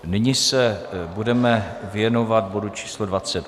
Nyní se budeme věnovat bodu číslo